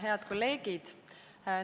Head kolleegid!